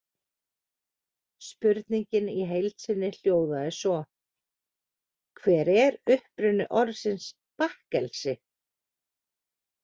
Spurningin í heild sinni hljóðaði svo: Hver er uppruni orðsins bakkelsi?